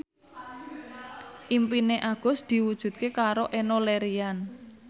impine Agus diwujudke karo Enno Lerian